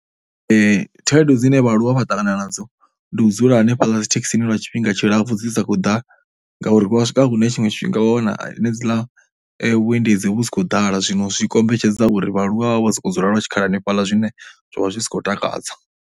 Khaedu dzine vhaaluwa vha ṱangana nadzo ndi u dzula hanefhaḽa dzithekhisini lwa tshifhinga tshi lapfhu dzi sa khou ḓa ngauri vha swika hune tshiṅwe tshifhinga vha wana henedziḽa vhuendedzi vhu si khou dala. Zwino zwi kombetshedza uri vhaaluwa vha vhe vho sokou dzula lwa tshikhala hanefhaḽa zwine zwa vha zwi si khou takadza.